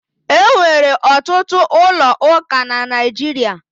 E nwere ọtụtụ ụlọ ụka na Naịjirịa.